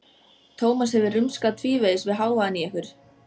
Tómas hefur rumskað tvívegis við hávaðann í ykkur.